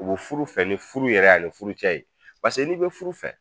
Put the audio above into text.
O bi furu fɛ ni furu yɛrɛ ye ani furu cɛ ye, paseke n'i bɛ furu fɛ